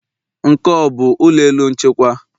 Nke, ọ bụ ụlọ elu nchịkwa?